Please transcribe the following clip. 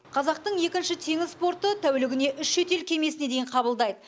қазақтың екінші теңіз порты тәулігіне үш шетел кемесіне дейін қабылдайды